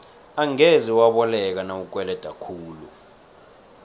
angeze waboleka nawukweleda khulu